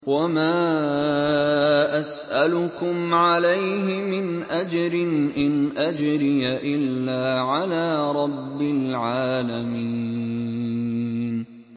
وَمَا أَسْأَلُكُمْ عَلَيْهِ مِنْ أَجْرٍ ۖ إِنْ أَجْرِيَ إِلَّا عَلَىٰ رَبِّ الْعَالَمِينَ